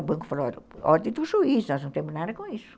O banco falou, olha, ordem do juiz, nós não temos nada com isso.